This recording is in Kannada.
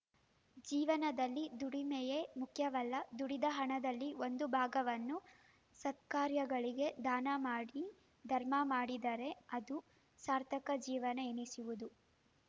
ಜೀವನದಲ್ಲಿ ದುಡಿಮೆಯೇ ಮುಖ್ಯವಲ್ಲ ದುಡಿದ ಹಣದಲ್ಲಿ ಒಂದು ಭಾಗವನ್ನು ಸತ್ಕಾರ್ಯಗಳಿಗೆ ದಾನ ಮಾಡಿ ಧರ್ಮ ಮಾಡಿದರೆ ಅದು ಸಾರ್ಥಕ ಜೀವನ ಎನಿಸುವುದು